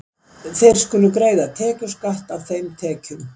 Þeir skulu greiða tekjuskatt af þeim tekjum.